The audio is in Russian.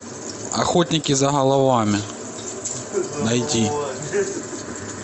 охотники за головами найти